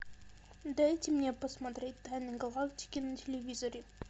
дайте мне посмотреть тайны галактики на телевизоре